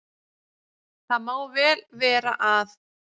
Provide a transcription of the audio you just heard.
Það má vel vera að